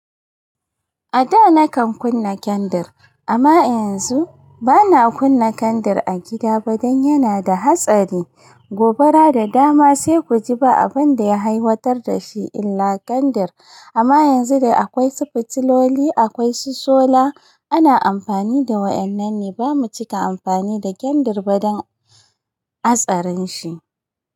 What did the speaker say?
A da nakan kunna kendir amma yanzu bana kunna kendir a gida ba dan yana da hatsari. Gobara da dama sai ku ji ba abin da ya haihatar da shi illa kandir. Amma yanzu da akwai su fitiloli, akwai su sola ana amfani da wa'annan ne. Ba mu cika amfani da kandir ba dan hatsarin shi.